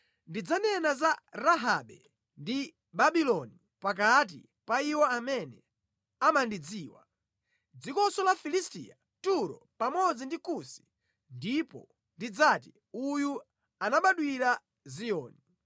“Ndidzanena za Rahabe ndi Babuloni pakati pa iwo amene amandidziwa. Dzikonso la Filisitiya, Turo pamodzi ndi Kusi, ndipo ndidzati, ‘Uyu anabadwira mʼZiyoni.’ ”